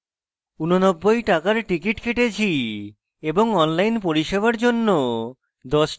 89 টাকার টিকিট কেটেছি এবং online পরিষেবার জন্য 10 টাকা দিয়েছি